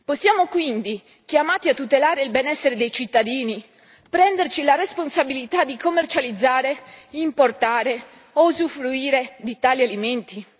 Siamo quindi chiamati a tutelare il benessere dei cittadini, prenderci la responsabilità di commercializzare, importare o usufruire di tali alimenti.